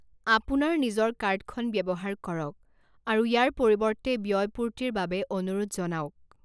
আপোনাৰ নিজৰ কাৰ্ডখন ব্যৱহাৰ কৰক আৰু ইয়াৰ পৰিৱৰ্তে ব্যয়পূৰ্তিৰ বাবে অনুৰোধ জনাওক।